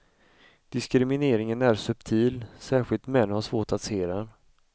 Diskrimineringen är subtil, särskilt män har svårt att se den.